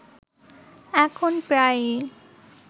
এখন প্রায়ই